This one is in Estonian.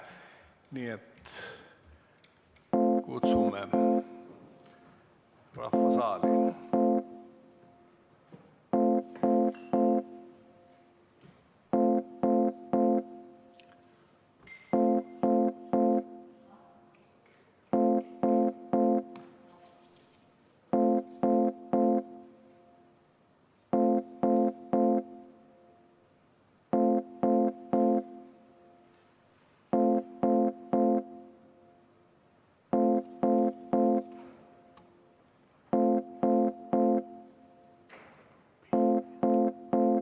Nii et kutsume rahva saali.